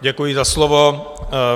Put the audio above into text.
Děkuji za slovo.